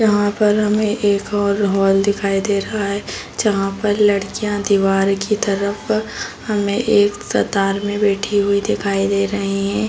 यहाँ पर हमे एक और हॉल दिखाई दे रहा है जहाँ पर लड़कियां दीवाल की तरफ हमे एक कतार में बैठी हुई दिखाई दे रहे हैं ।